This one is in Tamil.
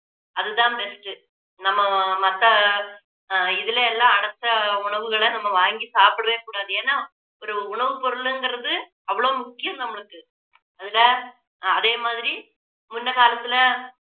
அதுதான் best உ நம்ம மத்த ஆஹ் இதுல எல்லாம் அடைச்ச உணவுகளை நம்ம வாங்கி சாப்பிடவே கூடாது ஏன்னா ஒரு உணவுப்பொருளுங்கிறது அவ்வளவு முக்கியம் நம்மளுக்கு அந்த அதே மாதிரி முன்ன காலத்துல